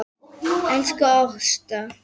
Elsku Ásta.